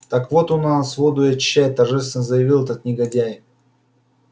так вот он у нас воду и очищает торжественно заявил этот негодяй